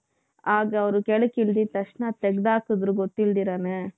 ಆಗ ಅವರು ಕೆಳಗೆ ಇಳಿದ ತಕ್ಷಣ ತೆಗೆದು ಹಾಕಿದ್ರು ಗೊತ್ತಿಲ್ದಿರಾನೆ.